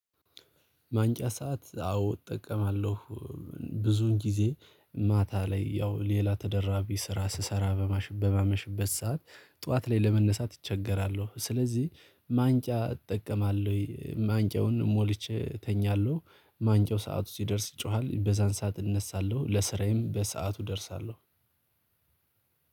ማንቂያ ሰዓት አዎ እጠቀማለሁ። ብዙን ጊዜ ማታ ላይ ያው ሌላ ተደራቢ ስራ ስሰራ በማሽ በማመሽበት ሰዓት ጠዋት ላይ ለመነሳት እቸገራለሁ። ስለዚህ ማንቂያ እጠቀማለሁ እይ ማንቂያውን ሞልቼ እተኛለሁ። ማንቂያው ሰዓት ሲደርስ ይጮሃል በዛን ሰዓት እነሳለሁ ለስራዬም በሰአቱ እደርሳለሁ።